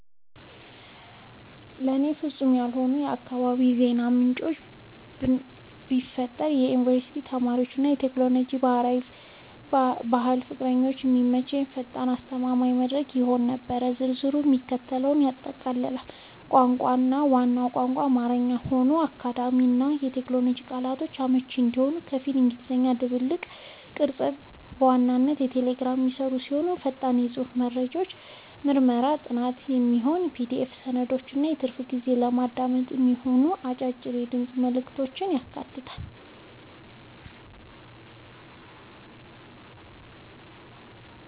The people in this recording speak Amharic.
ለእኔ ፍጹም የሆነውን የአካባቢ የዜና ምንጭ ብፈጥር ለዩኒቨርሲቲ ተማሪዎች እና ለቴክኖሎጂ/ባህል ፍቅረኞች የሚመች፣ ፈጣን እና አስተማማኝ መድረክ ይሆን ነበር። ዝርዝሩም የሚከተለውን ያጠቃልላል - ቋንቋ፦ ዋናው ቋንቋ አማርኛ ሆኖ፣ ለአካዳሚክ እና ለቴክኖሎጂ ቃላቶች አመቺ እንዲሆን ከፊል እንግሊዝኛ ድብልቅ። ቅርጸት፦ በዋናነት በቴሌግራም የሚሰራ ሲሆን፣ ፈጣን የጽሑፍ መረጃዎችን፣ ለምርምርና ጥናት የሚሆኑ የPDF ሰነዶችን እና በትርፍ ጊዜ ለማዳመጥ የሚሆኑ አጫጭር የድምፅ መልዕክቶችን ያካትታል።